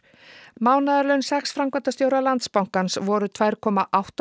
mánaðarlaun sex framkvæmdastjóra Landsbankans voru tvær komma átta